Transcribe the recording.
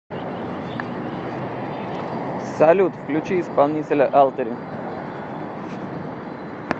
салют включи исполнителя алтери